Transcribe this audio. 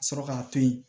Ka sɔrɔ k'a to yen